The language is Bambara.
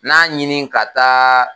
Na ɲini ka taa.